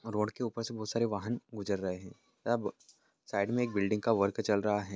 Road के ऊपर बहुत से वाहन गुजर रहे है। तब साइड में एक बिल्डिंग का वर्क चल रहा है।